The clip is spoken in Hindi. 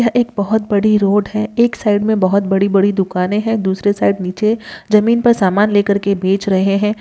यह एक बोहोत बड़ी रोड है एक साइड में बोहोत बड़ी-बड़ी दुकाने हैं दूसरे साइड नीचे जमीन पर सामान लेकर के बेच रहे हैं।